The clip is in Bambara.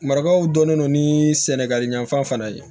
Maribaw dɔnnen don ni sɛnɛgali yanfan fana ye